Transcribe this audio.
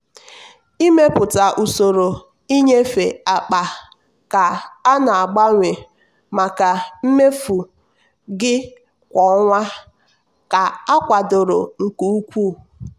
ịmepụta usoro nnyefe akpaka na-agbanwe maka mmefu gị kwa ọnwa ka akwadoro nke ukwuu.